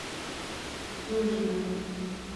дюжина